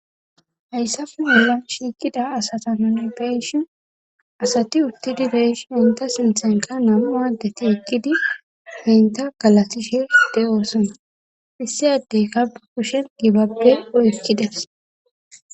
hayssafe mela shiikida asata nuni beyishi asati uttidi beyshi henta sinthenka nam7u adeti ekkidi henta galatishe de7oosona issi addey kaba kushen gibabbe oykkides